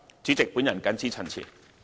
主席，我謹此陳辭。